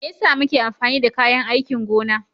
Me yasa muke amfani da kayan aikin gona?